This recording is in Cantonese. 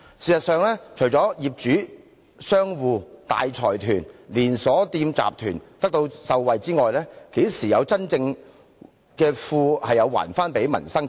事實上，除了業主、商戶、大財團和連鎖店集團會受惠外，這些措施怎樣真正還富於民呢？